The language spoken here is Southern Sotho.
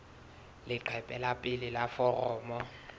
leqephe la pele la foromo